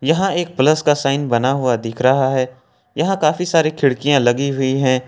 यहां एक प्लस का साइन बना हुआ दिख रहा है यहां काफी सारी खिड़कियां लगी हुई हैं।